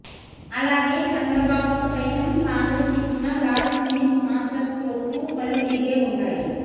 అలాగే చంద్రబాబుకు సైతం కాంగ్రెస్ ఇచ్చిన లాస్ట్ మినిట్ మాస్టర్ స్ట్రోక్ కు కళ్ళు తిరిగే ఉంటాయి